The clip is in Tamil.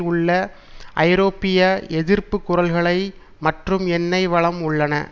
உள்ள ஐரோப்பிய எதிர்ப்பு குரல்களை மற்றும் எண்ணெய் வளம் உள்ளன